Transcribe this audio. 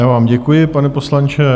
Já vám děkuji, pane poslanče.